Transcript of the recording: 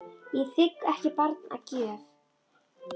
Ég þigg ekki barn að gjöf.